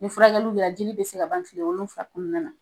Ni fura kɛliw kɛ la jiri bɛ se ka ban kile wolonfila kɔnɔna na.